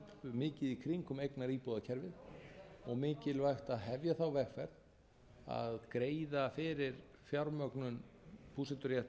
mikið í kringum eignaríbúðakerfið og mikilvægt að hefja þá vegferð að greiða